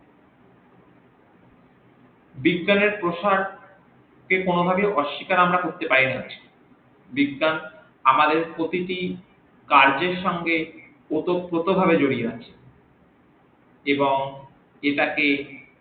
বিজ্ঞানের প্রসার কে কোনভাবেই অশ্যিকার আমরা করতে পারি না বিজ্ঞান আমাদের প্রতিটি কাজের সঙ্গে অতপ্রত ভাবে জরিয়ে আছে এবং এটাকে